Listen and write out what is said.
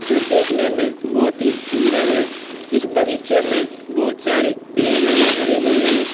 जो देखने में बहुत ही सुंदर है इस बगीचे में बहुत सारे पेड़ लगे हरे -भरे हैं।